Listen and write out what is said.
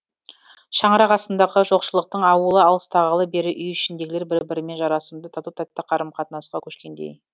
шаңырақ астындағы жоқшылықтың ауылы алыстағалы бері үй ішіндегілер бір бірімен жарасымды тату тәтті қарым қатынасқа көшкендей